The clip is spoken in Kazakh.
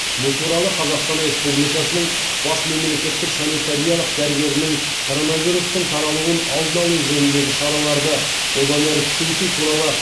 бұл туралы қазақстан республикасының бас мемлекеттік санитариялық дәрігерінің коронавирустың таралуын алдын алу жөніндегі шараларды одан әрі күшейту туралы